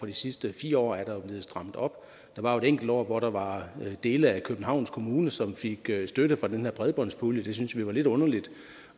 de sidste fire år jo er blevet strammet op der var jo et enkelt år hvor der var dele af københavns kommune som fik støtte fra den her bredbåndspulje det syntes vi var lidt underligt